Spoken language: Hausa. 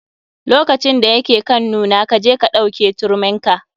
Lokacin da ya ke kan nuna, kaje ka ɗauke turmin ka.